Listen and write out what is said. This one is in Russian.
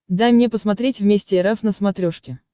дай мне посмотреть вместе эр эф на смотрешке